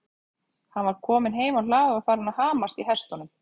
Hann var kominn heim á hlað og farinn að hamast í hestunum.